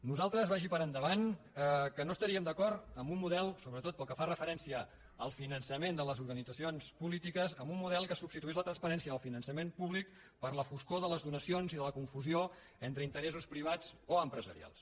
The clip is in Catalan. nosaltres vagi per endavant que no estaríem d’acord amb un model sobretot pel que fa referència al finançament de les organitzacions polítiques que substituís la transparència del finançament públic per la foscor de les donacions i de la confusió entre interessos privats o empresarials